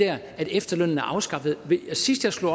at efterlønnen er afskaffet sidst jeg slog